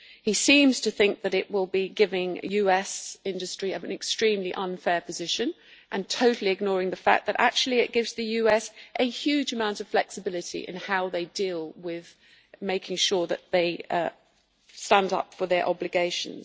He seems to think that it will be giving US industry an extremely unfair position and totally ignoring the fact that actually it gives the US a huge amount of flexibility in how they deal with making sure that they stand up for their obligations.